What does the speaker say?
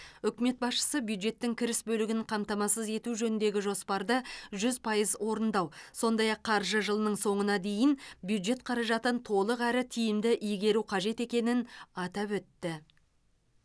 үкімет басшысы бюджеттің кіріс бөлігін қамтамасыз ету жөніндегі жоспарды жүз пайыз орындау сондай ақ қаржы жылының соңына дейін бюджет қаражатын толық әрі тиімді игеру қажет екенін атап өтті